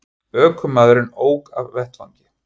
Ökumaðurinn ók af vettvangi